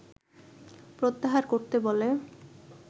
প্রত্যাহার করতে বলে